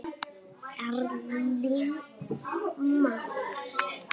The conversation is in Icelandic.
Erling Már.